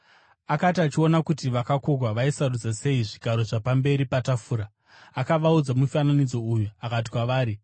Akati achiona kuti vakakokwa vaisarudza sei zvigaro zvapamberi patafura, akavaudza mufananidzo uyu akati kwavari,